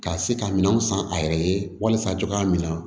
Ka se ka minɛn san a yɛrɛ ye walisa cogoya min na